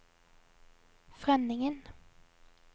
Frønningen